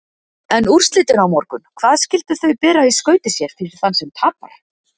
En úrslitin á morgun, hvað skyldu þau bera í skauti sér fyrir þann sem tapar?